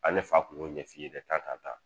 Ale fa kun yo ɲɛ fiye dɛ ka ka ta.